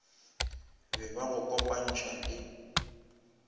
be ba go kopantšha le